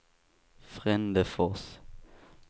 Frändefors